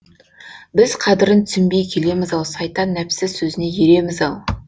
біз қадірін түсінбей келеміз ау сайтан нәпсі сөзіне ереміз ау